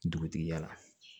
Dugutigi ya